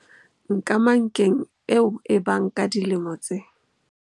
Nkamankeng eo e bang ka dilemo tse.